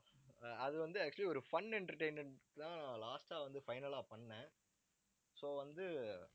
அஹ் அது வந்து actually ஒரு fun entertainment தான் last அ வந்து final லா பண்ணேன். so வந்து